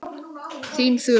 Þín Þura.